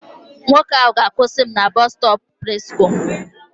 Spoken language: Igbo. Nwoke ahụ ga-akwụsị m na Bọstọpụ Presko.